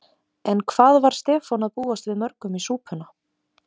En hvað var Stefán að búast við mörgum í súpuna?